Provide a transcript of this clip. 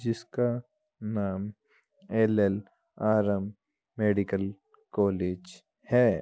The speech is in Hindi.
जिसका नाम एलएलआरएम मेडिकल कॉलेज है |